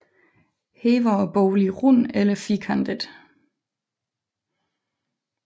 Her var boligen rund eller firkantet